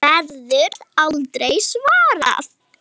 Verður aldrei svarað.